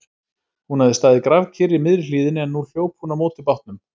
Hún hafði staðið grafkyrr í miðri hlíðinni en nú hljóp hún á móti bátnum.